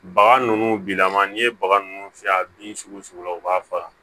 Baga ninnu bilama n'i ye baga ninnu fiyɛ a bin sugu sugu la u b'a faga